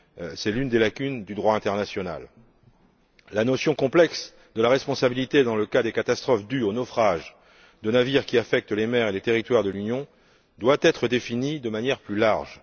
C'est une des lacunes du droit international. La notion complexe de la responsabilité dans le cas des catastrophes dues aux naufrages de navires qui touchent les mers et les territoires de l'Union doit être définie de manière plus large.